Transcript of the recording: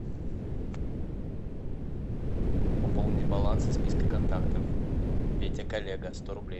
пополнить баланс из списка контактов петя коллега сто рублей